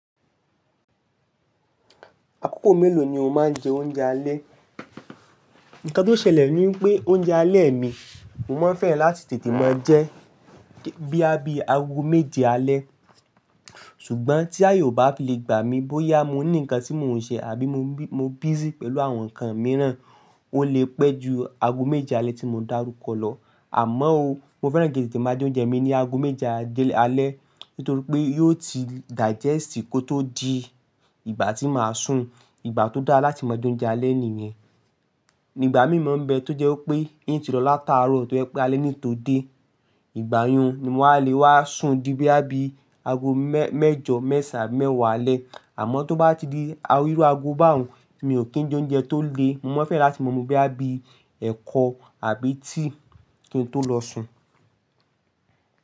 Àkókò mélòó ni o máa ń jẹ oúnjẹ alẹ́? Ǹkan tó ṣẹlẹ̀ ní wipé oúnjẹ alẹ́ mi, mo máa ń fẹ́ràn láti tètè máa jẹ, boya bíi agogo méje alẹ́. Ṣùgbọ́n tí àye ò bá fi lè gbà mí bóyá mo ní ǹkan tí mò ń ṣe àbí mo busy pẹ̀lú àwọn ǹkan mìíràn, ó lè pẹ́ ju aago méje alẹ́ tí mò dárúkọ lọ. Àmọ́ ó, mo fẹ́ràn kí n tètè máa je oúnjẹ mi ní aago méje alẹ́ nítorí pé yóò ti digest kó tó di ìgbà tí màá sùn. Ìgbà tó dára láti máa je oúnjẹ alẹ́ nìyẹn. Ní ìgbà mí mọ̀ ń bẹ tó jẹ́ wípé in ti lọ látaárọ̀ tó jẹ́ pé alẹ́ ni n tó dé. Ìgbà yẹn ni mo wàá lè wá sùn dí boya bíi aago mẹ́jọ, mẹ́saàn án, abi mẹ́wàá alẹ́. Àmọ́ tó bá ti di iru aago báhun, mi ò kí ń jẹ oúnjẹ tó le. Mo máa fẹ́ràn láti máa mú boya bíi ẹ̀kọ àbí tea kí n tó lọ sùn.